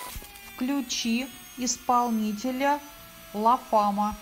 включи исполнителя ла фама